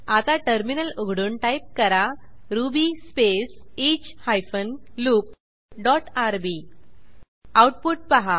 आता टर्मिनल उघडून टाईप करा Ruby space each hyphen loop dot R B output पहा